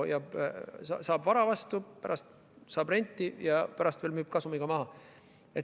Riik saab vara vastu, pärast saab renti ja pärast müüb veel kasumiga maha.